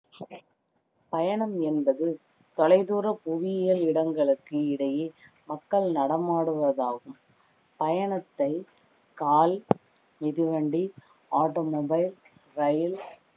பயணம் என்பது தொலைதூர புவியியல் இடங்களுக்கு இடையே மக்கள் நடமாடுவதாகும் பயணத்தை கால், மிதிவண்டி, automobile ரயில்,